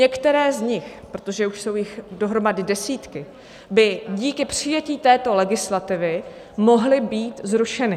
Některé z nich, protože už jsou jich dohromady desítky, by díky přijetí této legislativy mohly být zrušeny.